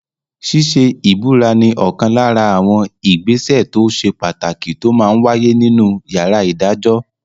Ṣíṣe ìbúra ní ọ̀kan lára àwọn ìgbésẹ̀ tó ṣe pàtàkì tó máa n wáyé nínu yàrá ìdájọ́